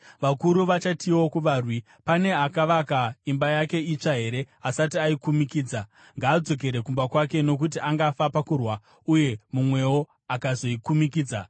Vakuru vachatiwo kuvarwi, “Pane akavaka imba yake itsva here asati aikumikidza? Ngaadzokere kumba kwake, nokuti angafa pakurwa uye mumwewo akazoikumikidza.